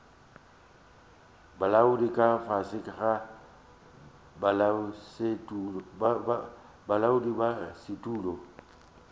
bolaodi ka fase ga bodulasetulo